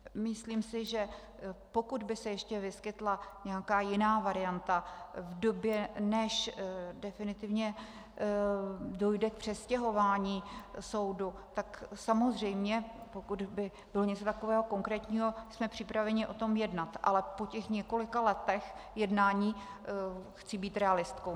Myslím si, že pokud by se ještě vyskytla nějaká jiná varianta v době, než definitivně dojde k přestěhování soudu, tak samozřejmě pokud by bylo něco takového konkrétního, jsme připraveni o tom jednat, ale po těch několika letech jednání chci být realistkou.